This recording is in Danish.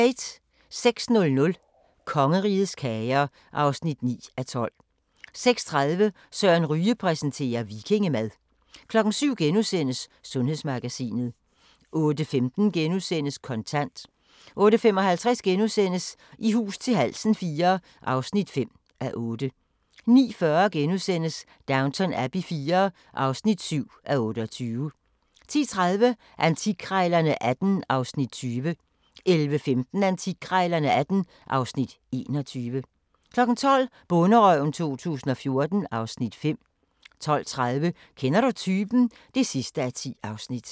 06:00: Kongerigets kager (9:12) 06:30: Søren Ryge præsenterer - vikingemad 07:00: Sundhedsmagasinet * 08:15: Kontant * 08:55: I hus til halsen IV (5:8)* 09:40: Downton Abbey IV (7:28)* 10:30: Antikkrejlerne XVIII (Afs. 20) 11:15: Antikkrejlerne XVIII (Afs. 21) 12:00: Bonderøven 2014 (Afs. 5) 12:30: Kender du typen? (10:10)